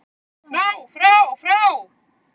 FRÁ FRÁ FRÁ